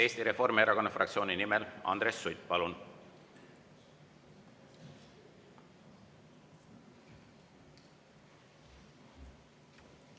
Eesti Reformierakonna fraktsiooni nimel Andres Sutt, palun!